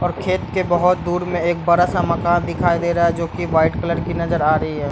और खेत के बहोत दूर में एक बडा सा मकान दिखाई दे रहा है जो की वाइट कलर की नजर आ रही है।